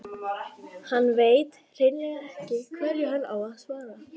Hann veit hreinlega ekki hverju hann á að svara.